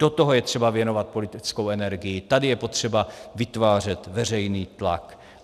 Do toho je třeba věnovat politickou energii, tady je potřeba vytvářet veřejný tlak.